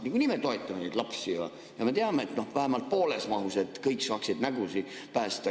Nagunii me toetame lapsi, me teame, et vähemalt pooles mahus, et kõik saaksid nägu päästa.